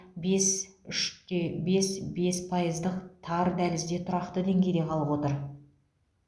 бес үш те бес бес пайыздық тар дәлізде тұрақты деңгейде қалып отыр